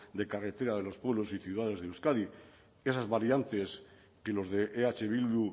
de carretera de los pueblos y ciudades de euskadi esas variantes que los de eh bildu